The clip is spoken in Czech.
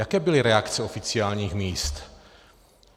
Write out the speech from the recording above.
Jaké byly reakce oficiálních míst?